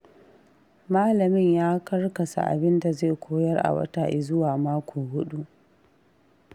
Malamin ya karkasa abinda zai koyar a wata izuwa mako huɗu.